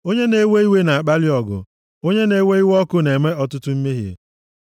Onye na-ewe iwe na-akpali ọgụ, onye na-ewe iwe ọkụ na-eme ọtụtụ mmehie.